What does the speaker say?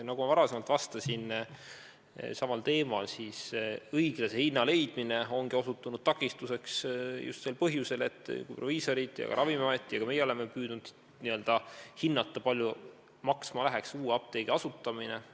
Nagu ma varem samal teemal vastates ütlesin, õiglase hinna leidmine ongi osutunud takistuseks just sel põhjusel, et proviisorid, Ravimiamet ja ka meie oleme püüdnud hinnata, kui palju läheks maksma uue apteegi asutamine.